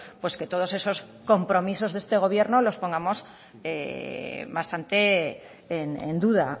pues que todos esos compromisos de este gobierno los pongamos bastante en duda